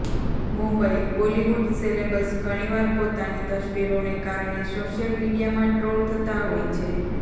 Mumbai Bollywood celebs ઘણીવાર પોતાની તસવીરોને કારણે સોશિયલ મીડિયામાં ટ્રોલ થતાં હોય છે